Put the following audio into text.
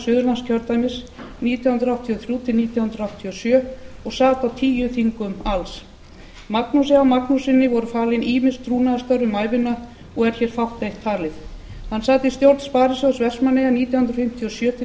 suðurlandskjördæmis nítján hundruð áttatíu og þrjú til nítján hundruð áttatíu og sjö og sat á tíu þingum alls magnúsi h magnússyni voru falin ýmis trúnaðarstörf um ævina og er hér fátt eitt talið hann sat í stjórn sparisjóðs vestmannaeyja nítján hundruð fimmtíu og sjö til